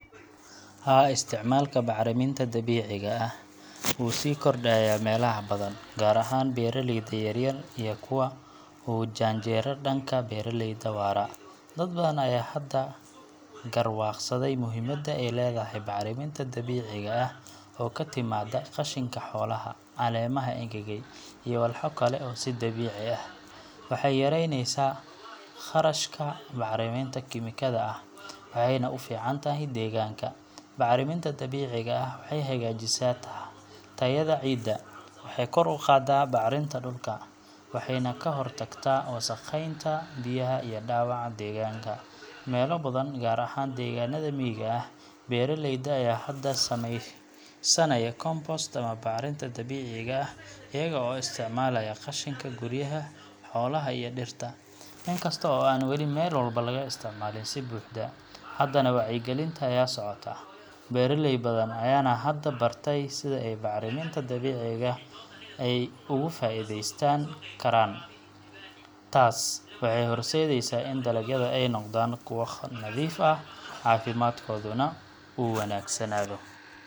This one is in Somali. Haa, isticmaalka bacriminta dabiiciga ah wuu sii kordhaya meelaha badan, gaar ahaan beeraleyda yaryar iyo kuwa u janjeera dhanka beeraleyda waara. Dad badan ayaa hadda garwaaqsaday muhiimadda ay leedahay bacriminta dabiiciga ah oo ka timaadda qashinka xoolaha, caleemaha engegay, iyo walxo kale oo dabiici ah. Waxay yareynaysaa kharashka bacriminta kiimikada ah, waxayna u fiican tahay deegaanka. Bacriminta dabiiciga ah waxay hagaajisaa tayada ciidda, waxay kor u qaadaa bacrinta dhulka, waxayna ka hortagtaa wasakheynta biyaha iyo dhaawaca deegaanka. Meelo badan, gaar ahaan deegaannada miyiga ah, beeraleyda ayaa hadda samaysanaya compost ama bacrinta dabiiciga ah iyaga oo isticmaalaya qashinka guryaha, xoolaha iyo dhirta. Inkasta oo aan wali meel walba laga isticmaalin si buuxda, haddana wacyigelinta ayaa socota, beeraley badan ayaana hadda bartay sida ay bacriminta dabiiciga ah uga faa’iideysan karaan. Taas waxay horseedaysaa in dalagyada ay noqdaan kuwo nadiif ah, caafimaadkooduna uu wanaagsanaado.